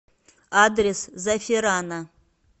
адрес заферано